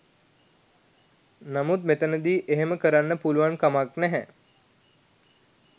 නමුත් මෙතැනදී එහෙම කරන්න පුළුවන්කමක් නැහැ.